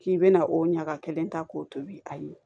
K'i bɛna o ɲaga kelen ta k'o tobi a ye